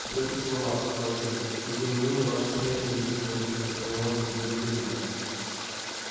всё это слова сказал чен и тем не менее ваша смерть не единственный выход который может удовлетворить нас